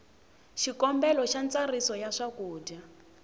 xikombelo xa ntsariso ya swakudya